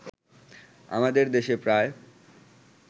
আমাদের দেশে প্রায়